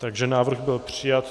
Takže návrh byl přijat.